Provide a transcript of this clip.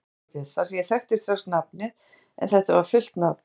Mér brá dálítið þar sem ég þekkti strax nafnið en þetta var fullt nafn